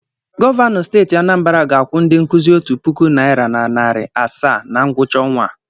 Gọvanọ steeti Anambara ga-akwụ ndị nkuzi otu puku naịra na narị asaa na ngwụcha ọnwa a.